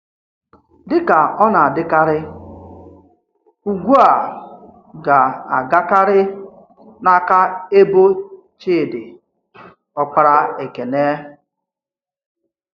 Dị̀ ka ọ̀ na-adị̀karị̀, ùgwù̀ a gā-agàkarị̀ n’áka èbò Chídì, ọ́kpàrà Èkénè.